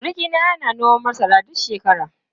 Surukina yana noman masara duk shekara.